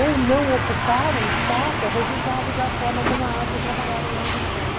ou não ocupar o espaço é resultado da forma como a arte é trabalhada nas escolas.